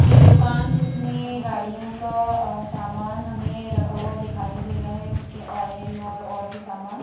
एक दुकान जिसमें गाड़ियों का अ सामान हमें रखा हुआ दिखाई दे रहा है उसके ऑयल और और भी सामान--